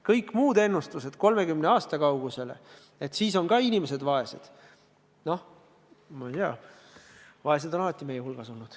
Kõik muud ennustused 30 aasta kaugusele tulevikku selle kohta, et ka siis on inimesed vaesed – noh, ma ei tea, vaeseid on meie hulgas alati olnud.